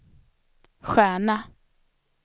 stjärna